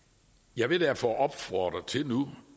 jeg vil derfor nu opfordre til